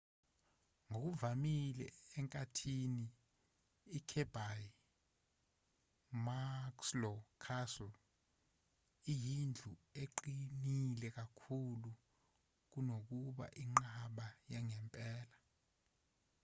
ngokuvamile enkathini ikirby muxloe castle iyindlu eqinile kakhulu kunokuba inqaba yangempela